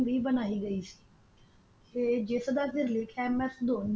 ਵੀ ਬਣਾਈ ਗਈ ਸੀ ਤੇ ਜਿਸ ਵਿਚ ਲਿਖਯਾ ਐਮ ਐਸ ਧੋਨੀ